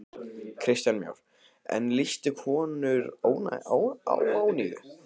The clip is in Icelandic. Kristján Már: En lýstu konur óánægju?